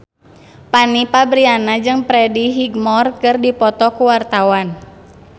Fanny Fabriana jeung Freddie Highmore keur dipoto ku wartawan